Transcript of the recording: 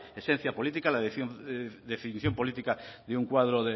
esencia política la definición política de un cuadro